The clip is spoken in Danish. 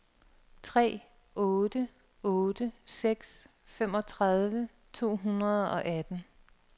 tre otte otte seks femogtredive to hundrede og atten